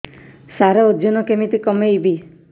ସାର ଓଜନ କେମିତି କମେଇବି